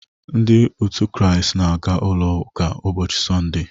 Ndị otu christ n'aga ụlọ ụka ụbọchị Sọnde